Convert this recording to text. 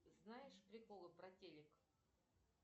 знаешь приколы про телек